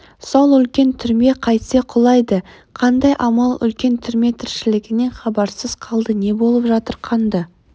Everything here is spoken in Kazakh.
сол үлкен түрме қайтсе құлайды қандай амал үлкен түрме тіршілігінен хабарсыз қалды не болып жатыр қанды